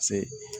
Se